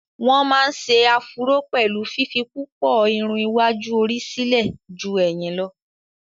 wọ́n má ń se afuró pẹ̀lú fífi púpọ̀ Irun iwájú orí sílẹ̀ jú ẹ̀yìn lọ́